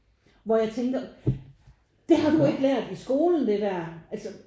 Hvor jeg tænkte det har du ikke lært i skolen det der altså